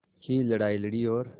की लड़ाई लड़ी और